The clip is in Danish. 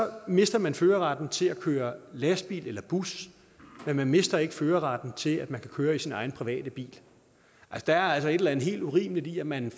mister man førerretten til at køre lastbil eller bus men man mister ikke førerretten til at man kan køre i sin egen private bil der er altså et eller andet helt urimeligt i at man